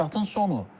Statın sonu.